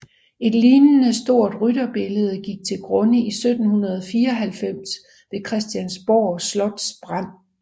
Et lignende stort rytterbillede gik til grunde 1794 ved Christiansborg Slots brand